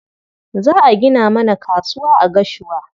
Za a gina mana kasuwa a Gashua.